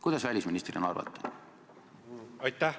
Kuidas te välisministrina arvate?